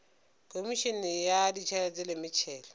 khomišene ya ditšhelete le metšhelo